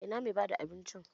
Ina mai bada abincin?